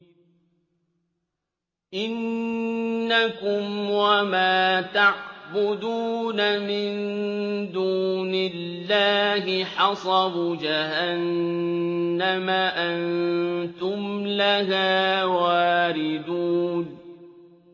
إِنَّكُمْ وَمَا تَعْبُدُونَ مِن دُونِ اللَّهِ حَصَبُ جَهَنَّمَ أَنتُمْ لَهَا وَارِدُونَ